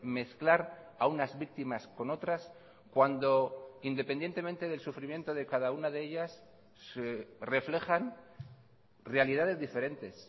mezclar a unas víctimas con otras cuando independientemente del sufrimiento de cada una de ellas reflejan realidades diferentes